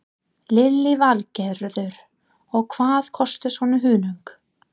Lillý Valgerður: Og hvað kostar svona hunang?